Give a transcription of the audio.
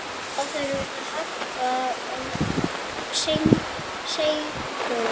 Þá þurfti hörku og seiglu.